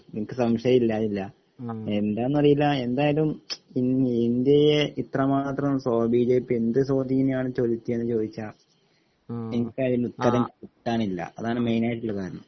എനിക്ക് സംശയം ഇല്ലാതില്ല എന്താണ് അറിയില്ല എന്തായാലും ഇന്ത്യയെ ഇത്രമാത്രം സ്വാധീ ഇപ്പൊ എന്ത് സ്വാധീനമാണ് ചെലത്തിയെന്ന് ചോദിച്ചാൽ എനിക്ക് അതിനുള്ള ഉത്തരം കിട്ടാനില്ല അതാണ് മെയിൻ ആയിട്ടുള്ള കാരണം